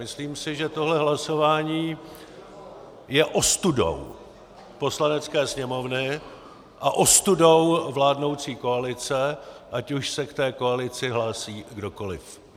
Myslím si, že tohle hlasování je ostudou Poslanecké sněmovny a ostudou vládnoucí koalice, ať už se k té koalici hlásí kdokoliv.